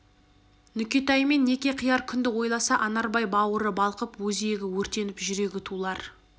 нүкетаймен неке қияр күнді ойласа анарбай бауыры балқып өзегі өртеніп жүрегі тулар